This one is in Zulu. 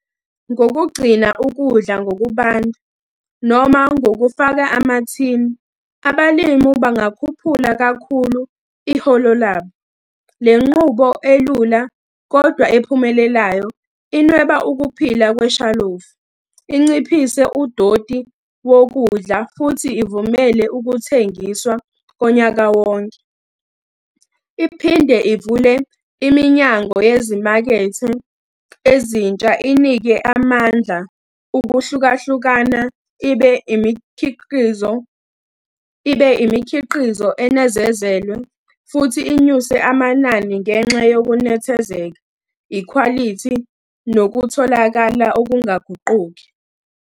Ngokugcina ukudla ngokubanda noma ngokufaka amathini, abalimi bangakhuphula kakhulu iholo labo. Le nqubo elula, kodwa ephumelelayo inweba ukuphila kweshalofu, inciphise udoti wokudla, futhi ivumele ukuthengiswa konyaka wonke. Iphinde ivule iminyango yezimakethe ezintsha inike amandla ukuhlukahlukana, ibe imikhiqizo, ibe imikhiqizo enezezelwe, futhi inyuse amanani ngenxa yokunethezeka, ikhwalithi nokutholakala okungaguquki.